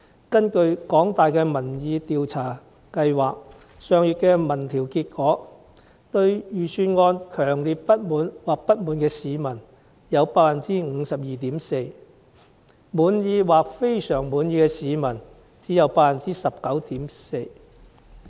根據香港大學民意研究計劃上月的民調結果，對預算案強烈不滿或不滿的市民有 52.4%， 滿意或非常滿意的市民只有 19.4%。